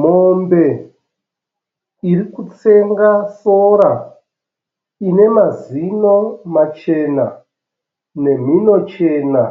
Mombe irikutsenga sora. Inemazino machena nemhino chena.